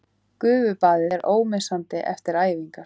Gufubaðið er ómissandi eftir æfingar